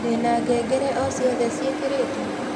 ndĩna ngengere o cĩothe cĩĩkĩrĩtwo